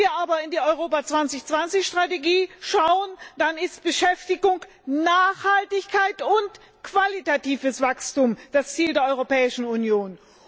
Wenn wir uns aber die Europa 2020 Strategie ansehen, dann sind Beschäftigung, Nachhaltigkeit und qualitatives Wachstum die Ziele der Europäischen Union.